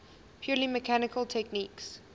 purely mechanical techniques